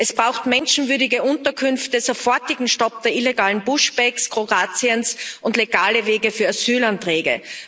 Es braucht menschenwürdige Unterkünfte, sofortigen Stopp der illegalen Push backs Kroatiens und legale Wege für Asylanträge.